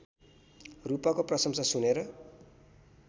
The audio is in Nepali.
रूपको प्रशंसा सुनेर